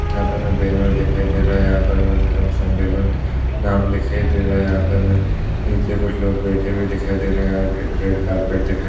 यहाँ पर हमें बैनर दिखाई दे रहा है। यहाँ पर में धर्म समेंलन नाम लिखाई दे रहा है। यहाँ पे हमें नीचे कुछ लोग बैठे हुए दिखाई दे रहे हैं। यहाँ रेड कार्पेट दिखाई --